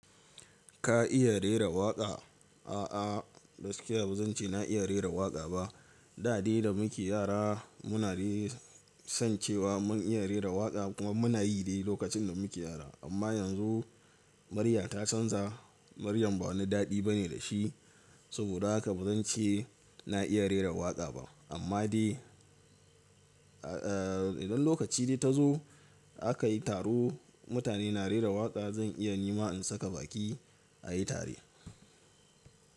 Ka iya rera waƙa? A'a, gaskiya ba zan ce na iya rera waƙa ba. Da a da da muke yara muna san cewa mun iya rera waƙa kuma muna yi dai lokacin da muke yara. Amma yanzu murya ta canza. Maryam ba wani daɗi bane da shi, saboda haka ba zan ce na iya rera waƙa ba. Amma dai, idan lokaci dai ta zo aka yi taro, mutane na rera waƙa, zan iya ni ma in saka baki a yi tare.